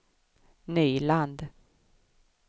Nyland